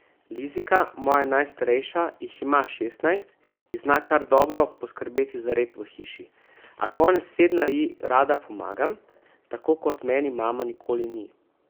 Lizika, moja najstarejša, jih ima šestnajst in zna kar dobro poskrbeti za red v hiši, a konec tedna ji rada pomagam, tako kot meni mama nikoli ni.